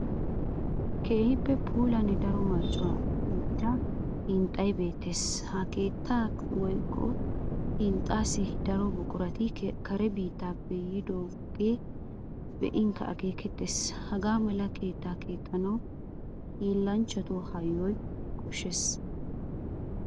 Keehi puulanne daro marccuwan giigida hinxxay beettes. Ha keettaa woykko hinxxaassi daro buqurati kare biittaappe yiidoogeekka be'in akeekettees. Hagaamala keettata keexxanawu hiillanchchatu hayyuwa koshshees.